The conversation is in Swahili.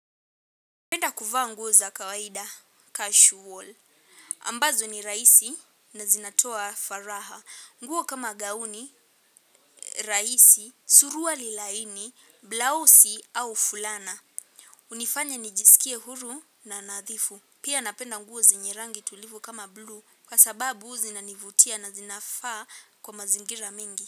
Napenda kuvaa nguo za kawaida casual. Ambazo ni rahisi na zinatoa faraha. Nguo kama gauni, raisi, suruali laini, blausi au fulana. Unifanya nijisikie huru na nathifu. Pia napenda nguo zenye rangi tulivu kama blue kwa sababu zinanivutia na zinafaa kwa mazingira mengi.